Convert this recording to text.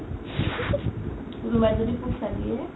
কোনোবাই যদি পইচা দিয়ে